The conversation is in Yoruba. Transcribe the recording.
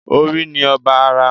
Orí ni ọba ara